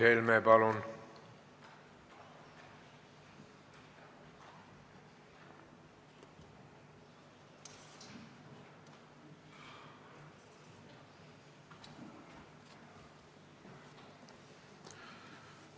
Mart Helme, palun!